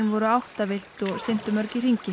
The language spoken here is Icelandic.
voru áttavillt og syntu í hringi